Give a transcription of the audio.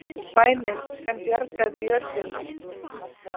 Bænin sem bjargaði jörðunni